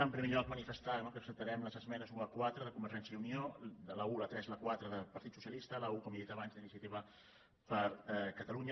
en primer lloc manifestar no que acceptarem les esmenes un a quatre de convergència i unió la un la tres i la quatre del partit socialista i la un com he dit abans d’iniciativa per catalunya